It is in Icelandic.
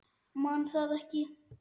Man það ekki.